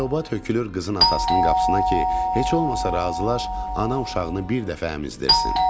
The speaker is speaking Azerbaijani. Elobası tökülür qızın atasının qapısına ki, heç olmasa razılaş, ana uşağını bir dəfə əmizdirsin.